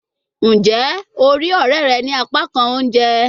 Njẹ o rii ọrẹ rẹ ni apakan ounjẹ?